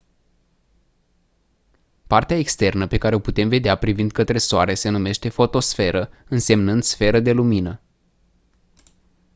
partea externă pe care o putem vedea privind către soare se numește fotosferă însemnând «sferă de lumină».